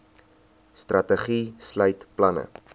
strategie sluit planne